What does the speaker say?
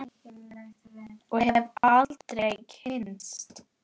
Og hefði aldrei kynnst